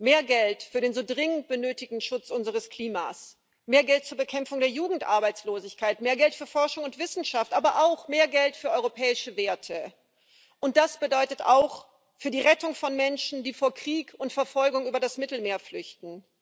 Mehr Geld für den so dringend benötigten Schutz unseres Klimas, mehr Geld zur Bekämpfung der Jugendarbeitslosigkeit, mehr Geld für Forschung und Wissenschaft, aber auch mehr Geld für europäische Werte und somit auch für die Rettung von Menschen, die vor Krieg und Verfolgung über das Mittelmeer flüchten.